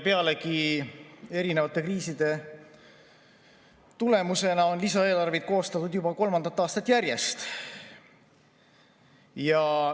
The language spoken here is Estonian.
Pealegi on erinevate kriiside tulemusena lisaeelarveid koostatud juba kolmandat aastat järjest.